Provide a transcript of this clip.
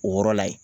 O yɔrɔ la yen